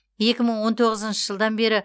екі мың он тоғызыншы жылдан бері